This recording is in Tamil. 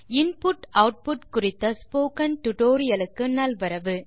inputஆட்புட் குறித்த இந்த டியூட்டோரியல் க்கு நல்வரவு